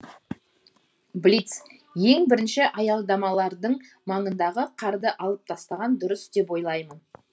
блиц ең бірінші аялдамалардың маңындағы қарды алып тастаған дұрыс деп ойлаймын